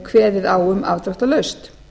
kveðið á um afdráttarlaust